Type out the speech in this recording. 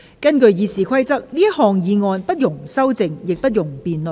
根據《議事規則》，這項議案不容修正，亦不容辯論。